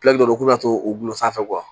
u bɛ na to u bulon sanfɛ